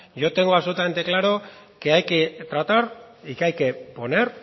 yo tengo absolutamente claro que hay que tratar y que hay que poner